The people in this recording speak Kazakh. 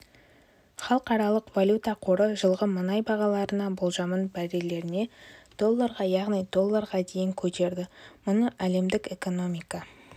халықаралық валюта қоры жылғы мұнай бағаларына болжамын барреліне долларға яғни долларға дейін көтерді мұны әлемдік экономика